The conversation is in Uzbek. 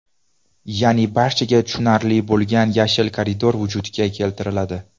Ya’ni barchaga tushunarli bo‘lgan yashil koridor vujudga keltiriladi.